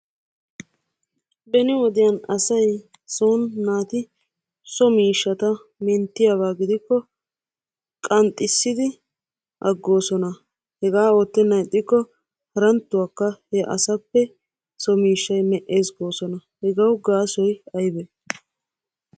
Beni wodiyan asay son naati so miishshata menttiyaba gidikko qanxxissidi aggoosona. Hegaa oottennan ixxikko haranttuwakka he asappe so miishshay me'ees goosona. Hegawu gaasoy aybee?